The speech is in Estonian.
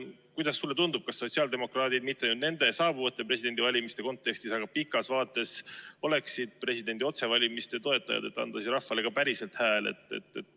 Kuidas sulle tundub, kas sotsiaaldemokraadid oleksid – mitte nende saabuvate presidendivalimiste kontekstis, aga pikemas vaates – presidendi otsevalimiste toetajad, et anda rahvale ka päriselt hääl?